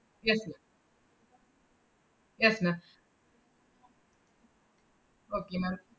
yes ma'am yes ma'am okay ma'am